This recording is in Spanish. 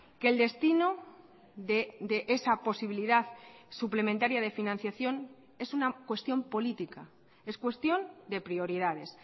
que el destino de esa posibilidad suplementaria de financiación es una cuestión política es cuestión de prioridades